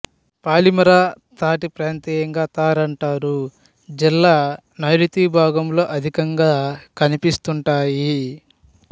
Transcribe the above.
palmyra తాటి ప్రాంతీయంగా తార్ అంటారు జిల్లా నైరుతీ భాగంలో అధికంగా కనిపిస్తుంటాయి